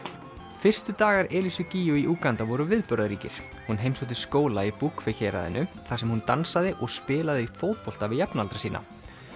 fyrstu dagar gígju í Úganda voru viðburðaríkir hún heimsótti skóla í héraðinu þar sem hún dansaði og spilaði fótbolta við jafnaldra sína